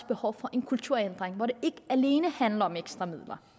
behov for en kulturændring hvor det ikke alene handler om ekstra midler